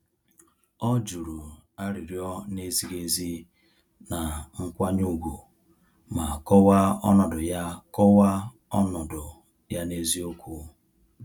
Ọ juru arịrịọ na-ezighị ezi na nkwanye ùgwù ma kọwaa ọnọdụ ya kọwaa ọnọdụ ya n'eziokwu.